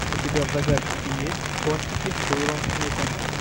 у тебя в загашнике есть контики с уиллом смитом